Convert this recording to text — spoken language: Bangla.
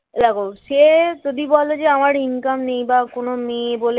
এই দেখ সে যদি বলে যে আমার ইনকাম নেই বা কোন মেয়ে বলে